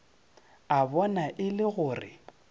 a bona e le gore